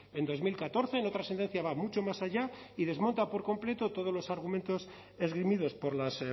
en dos mil catorce en otra sentencia va mucho más allá y desmonta por completo todos los argumentos esgrimidos por las